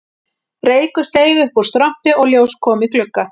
Reykur steig upp úr strompi og ljós kom í glugga